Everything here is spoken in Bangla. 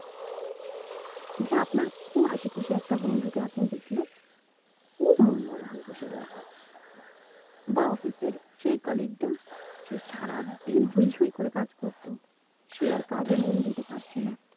যে আপনার খুব হাসি খুশি একটা বন্ধু কে আপনি দেখলেন খুব মন মোর হয়ে বসে রয়েছে বা office এর সেই colleague টা সে সারা দিন হই হই করে কাজ করতো সে আর কাজে মন দিতে পারছেনা